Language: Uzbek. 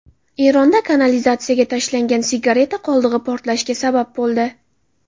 Eronda kanalizatsiyaga tashlangan sigareta qoldig‘i portlashga sabab bo‘ldi .